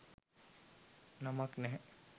නමක් නැහැ.